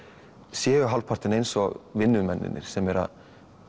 sé hálfpartinn eins og vinnumennirnir sem eru að